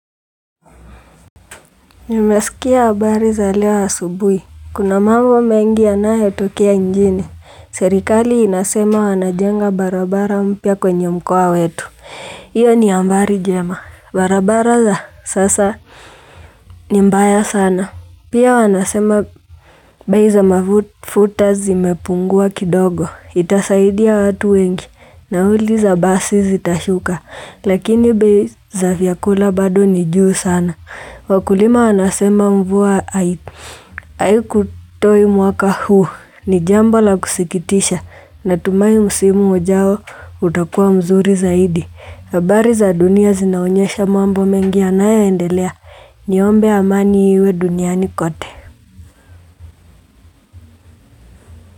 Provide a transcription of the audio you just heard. Nimesikia habari za lewa asubui. Kuna mambo mengi anayo tokea njini. Serikali inasema wanajenga barabara mpia kwenye mkua wetu. Iyo ni ambari jema. Barabara za sasa ni mbaya sana. Pia wanasema bai za mafuta zi mepungua kidogo. Itasaidia watu wengi. Na huli za basi zita shuka. Lakini baiza vyakula badu nijuu sana. Wakulima anasema mvua haiku toi mwaka huu ni jambo la kusikitisha na tumayi musimu ujao utakuwa mzuri zaidi. Kabari za dunia zinaonyesha mambo mengi yanaya endelea ni ombe amani iwe duniani kote.